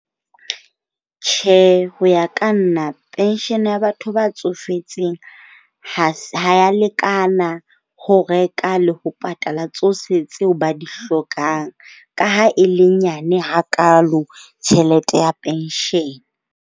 Tjhe, ho ya ka nna pension ya batho ba tsofetseng ha ha ya lekana ho reka le ho patala tsohle tseo ba di hlokang. Ka ha e le nyane hakaalo tjhelete ya pension.